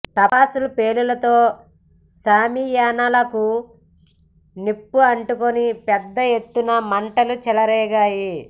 టపాసులు పేలుళ్లతో షామియానా లకు నిప్పు అంటుకొని పెద్ద ఎత్తున్నమంటలు చెలరేగాయి